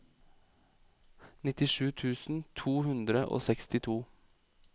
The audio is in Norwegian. nittisju tusen to hundre og sekstito